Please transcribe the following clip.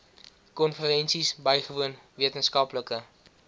konferensies bygewoon wetenskaplike